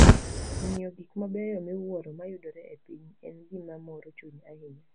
Ng'iyo gik mabeyo miwuoro mayudore e piny, en gima moro chuny ahinya.